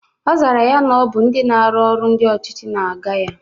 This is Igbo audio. Ọzara ya na Ọ bụ ndị na-arụ ọrụ ndị ọchịchị na-aga ya